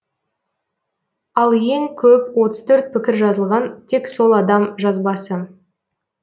ал ең көп отыз төрт пікір жазылған тек сол адам жазбасы